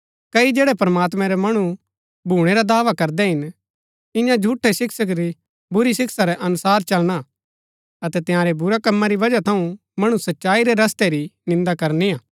कई जैड़ै प्रमात्मैं रै मणु भूणै रा दावा करदै हिन इन्या झूठै शिक्षक री बुरी शिक्षा रै अनुसार चलना अतै तंयारै बुरै कमा री वजह थऊँ मणु सच्चाई रै रस्तै री निन्दा करनी हा